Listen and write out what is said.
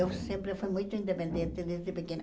Eu sempre fui muito independente desde pequena.